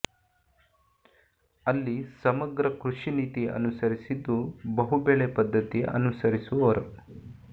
ಅಲ್ಲಿ ಸಮಗ್ರ ಕೃಷಿ ನೀತಿ ಅನುಸರಿಸಿದ್ದು ಬಹುಬೆಳೆ ಪದ್ಧತಿ ಅನುಸರಿಸುವರು